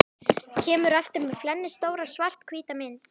Kemur aftur með flennistóra, svarthvíta mynd.